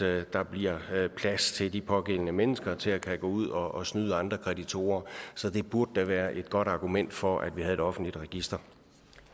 at der bliver plads til de pågældende mennesker til at kunne gå ud og snyde andre kreditorer så det burde da være et godt argument for at vi havde et offentligt register